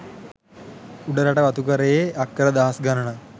උඩරට වතුකරයේ අක්කර දහස් ගණනක්